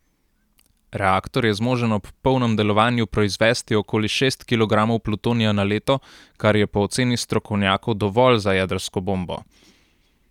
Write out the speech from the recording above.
Reaktor je zmožen ob polnem delovanju proizvesti okoli šest kilogramov plutonija na leto, kar je po oceni strokovnjakov dovolj za jedrsko bombo.